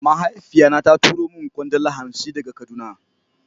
Mahaifiya na ta turo min kwandala hansi daga kaduna.